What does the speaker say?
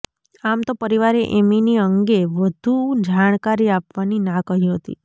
આમ તો પરિવારે એમીની અંગે વધુ જાણકારી આપવાની નાં કહી હતી